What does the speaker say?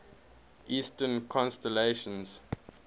eastern constellations